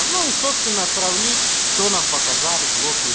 ну и собственно сравнить что нам показали блоки